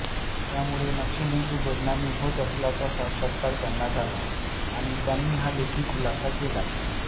त्यामुळे नक्षलींची बदनामी होत असल्याचा साक्षात्कार त्यांना झाला आणि त्यांनी हा लेखी खुलासा केलाय